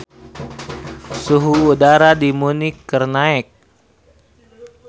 Suhu udara di Munich keur naek